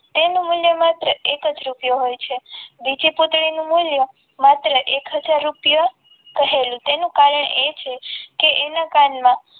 તેનું મૂલ્ય માત્ર એક જ રૂપિયો હોય છે બીજી પુત્રી નું મૂલ્ય માત્ર હાજર રૂપિયા રહેલું એનું કારણ તે છે કે ના કાન માં